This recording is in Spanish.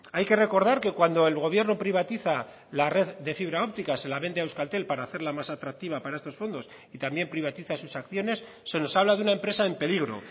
hay que recordar que cuando el gobierno privatiza la red de fibra óptica se la vende a euskaltel para hacerla más atractiva para estos fondos y también privatiza sus acciones se nos habla de una empresa en peligro